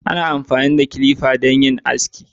Ana amfani da kilifa don yin aski.